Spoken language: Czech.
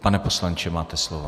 Pane poslanče, máte slovo.